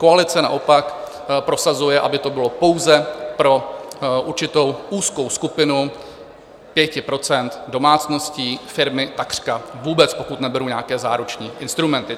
Koalice naopak prosazuje, aby to bylo pouze pro určitou úzkou skupinu 5 % domácností, firmy takřka vůbec, pokud neberu nějaké záruční instrumenty.